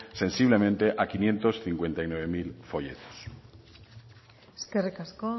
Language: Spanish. sensiblemente a quinientos cincuenta y nueve mil folletos eskerrik asko